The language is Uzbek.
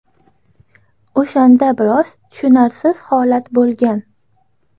O‘shanda biroz tushunarsiz holat bo‘lgan.